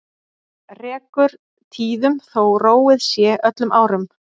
Rekur tíðum þó róið sé öllum árum.